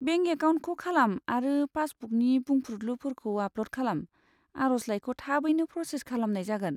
Bank एकाउन्टखौ खालाम आरो पासबुकनि बुंफ्रुदलुफोरखौ आपल'ड खालाम, आर'जलाइखौ थाबैनो प्रसेज खालामनाय जागोन।